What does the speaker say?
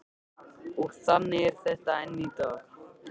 Og þannig er þetta enn í dag.